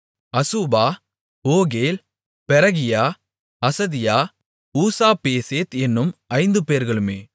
அசூபா ஒகேல் பெரகியா அசதியா ஊசாபேசேத் என்னும் ஐந்துபேர்களுமே